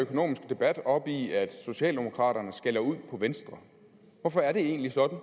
økonomiske debat op i at socialdemokraterne skælder ud på venstre hvorfor er det egentlig sådan